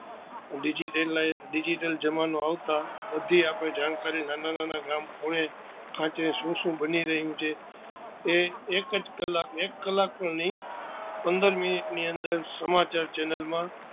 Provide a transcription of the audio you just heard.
Digital જમાનો આવતા બધી આપણે જાણકારી નાં ના ખૂણે ખાંચારે શું શું બની રહિયું છે, તે એક કલાક જ એક કલાક પણ નહી પંદર મિનિટ ની અંદર સમાચાર chhenal માં